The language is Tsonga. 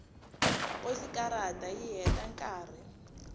posikarata yi heta nkarhi